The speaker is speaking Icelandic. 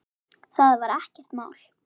Það var ekkert mál.